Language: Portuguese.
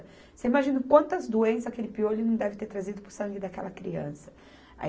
Você imagina quantas doenças aquele piolho não deve ter trazido para o sangue daquela criança.